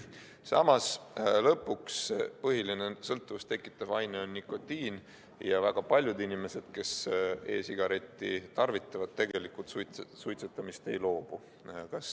Samas, lõpuks põhiline sõltuvust tekitav aine on nikotiin ja väga paljud inimesed, kes e-sigaretti tarvitavad, tegelikult suitsetamisest ei loobu.